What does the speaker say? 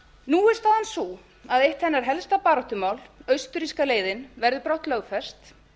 nú er staðan sú að eitt hennar helsta baráttumál austurríska leiðin verður brátt lögfest